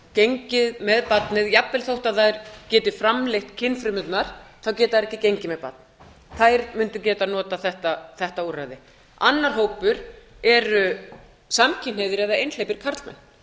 gengið með barnið jafnvel þótt þær geti framleitt kynfrumurnar geta þær ekki gengið með barn þær mundu geta notað þetta úrræði annar hópur er samkynhneigðir eða einhleypir karlmenn